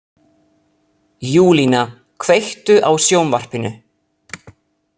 Júlína, kveiktu á sjónvarpinu.